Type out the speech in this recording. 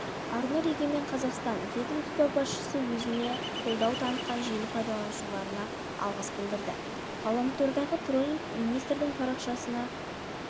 арнұр егемен қазақстан ведомства басшысы өзіне қолдау танытқан желі пайланушыларға алғыс білдірді ғаламтордағы троллинг министрдің парақшасына